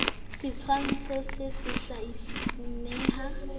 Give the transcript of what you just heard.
setshwantsho se se hlalosang neha